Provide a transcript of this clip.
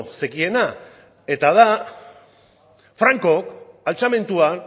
zekiena eta da franko altxamendua